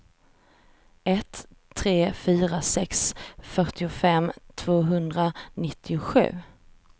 ett tre fyra sex fyrtiofem tvåhundranittiosju